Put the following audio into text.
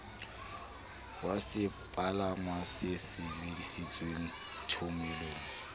wa sepalangwa se sebedisitweng thomelong